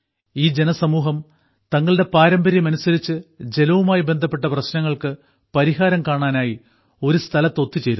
ഈ ജനസമൂഹം തങ്ങളുടെ പാരമ്പര്യമനുസരിച്ച് ജലവുമായി ബന്ധപ്പെട്ട പ്രശ്നങ്ങൾക്ക് പരിഹാരം കാണാനായി ഒരു സ്ഥലത്ത് ഒത്തുചേരുന്നു